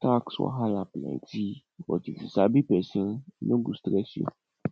tax wahala plenty but if you sabi pesin e no go stress you